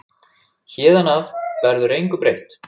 Héðan af verður engu breytt.